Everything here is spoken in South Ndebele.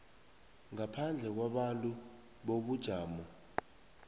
ngaphandle kwabantu bobujamo